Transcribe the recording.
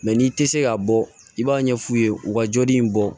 Mɛ n'i tɛ se ka bɔ i b'a ɲɛ f'u ye u ka joli in bɔ